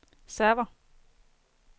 server